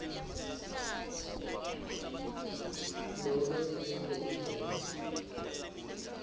nobe ngalenye indlela